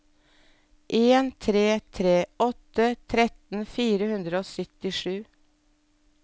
en tre tre åtte tretten fire hundre og syttisju